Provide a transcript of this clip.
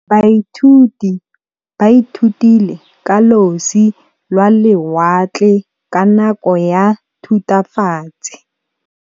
Baithuti ba ithutile ka losi lwa lewatle ka nako ya Thutafatshe.